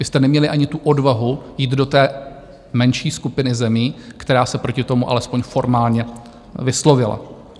Vy jste neměli ani tu odvahu jít do té menší skupiny zemí, která se proti tomu alespoň formálně vyslovila.